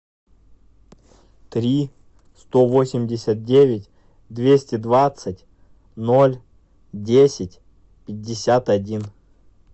три сто восемьдесят девять двести двадцать ноль десять пятьдесят один